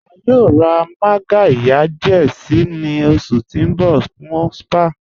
À yóò rá mágàryà díẹ̀ sí ni oṣù ti n bọ̀ fún spa